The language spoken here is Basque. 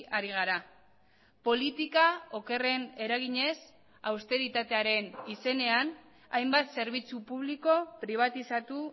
ari gara politika okerren eraginez austeritatearen izenean hainbat zerbitzu publiko pribatizatu